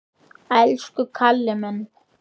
Elsku Kalli minn!